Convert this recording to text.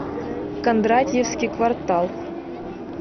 кондратьевский квартал